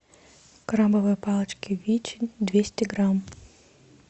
крабовые палочки вичи двести грамм